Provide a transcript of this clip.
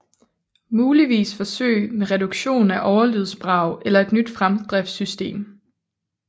Muligvis forsøg med reduktion af overlydsbrag eller et nyt fremdriftssystem